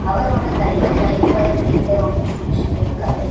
அவறோட கைல white colour paper ஒன்னு புடிச்சிட்டு இருக்காரு.